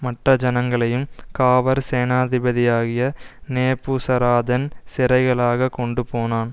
மற்ற ஜனங்களையும் காவற்சேனாதிபதியாகிய நேபுசராதான் சிறைகளாகக் கொண்டுபோனான்